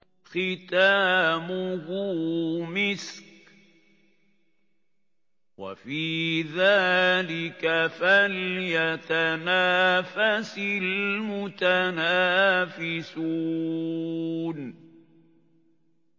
خِتَامُهُ مِسْكٌ ۚ وَفِي ذَٰلِكَ فَلْيَتَنَافَسِ الْمُتَنَافِسُونَ